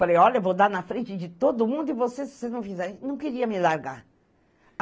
Falei, olha, vou dar na frente de todo mundo e você, se você não fizer, não queria me largar.